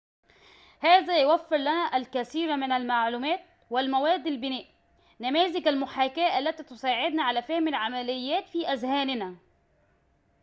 هذا يوفر لنا الكثير من المعلومات والمواد لبناء نماذج المحاكاة التي تساعدنا على فهم العمليات في أذهاننا